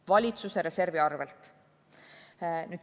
Valitsuse reservi arvelt.